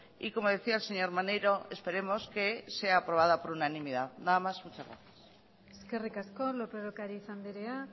y como decía el señor maneiro esperemos que sea aprobada por unanimidad nada más muchas gracias eskerrik asko lópez de ocariz andrea